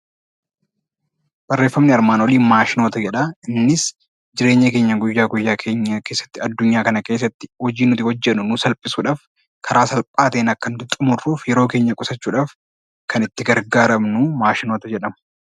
Barreeffamni armaan olii maashinoota jedha. Innis jireenya guyyaa guyyaa keenya keessatti addunyaa kana keessatti hojii nuti hojjennu nuuf salphisuudhaaf karaa salphaa ta'een akka nuti xumurruuf, yeroonkeenya qusachuudhaaf kan nuti itti gargaaramnu maashinoota jedhamu.